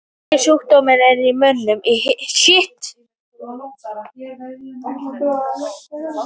Einkenni sjúkdómsins í mönnum eru hiti, blóðþrýstingsfall, nýrnabilun.